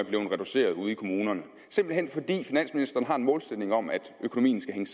blevet reduceret ude i kommunerne simpelt hen fordi finansministeren har en målsætning om at økonomien skal hænge